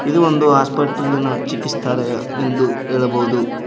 ಇದು ಒಂದು ಹಾಸ್ಪಟ್ಲಿನ ಚಿಕಿತ್ಸಾಲಯ ಎಂದು ಹೇಳಬಹುದು.